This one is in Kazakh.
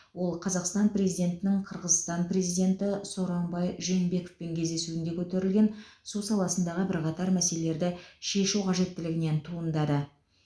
ол қазақстан президентінің қырғызстан президенті сооронбай жээнбековпен кездесуінде көтерілген су саласындағы бірқатар мәселелерді шешу қажеттілігінен туындады